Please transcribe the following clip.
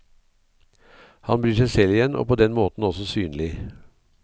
Han blir seg selv igjen, og på den måten også synlig.